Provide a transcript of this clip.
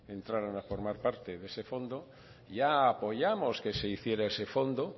entraran a formar parte de ese fondo ya apoyamos que se hiciera ese fondo